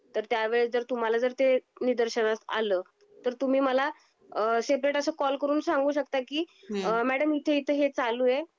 तर त्या वेळेस जर तुम्हाला जर ते निदर्शनास आल, तर तुम्ही मला अ सेपरेट अस कॉल करून सांगू शकता की अ मॅडम इथे इथे हे चालू आहे.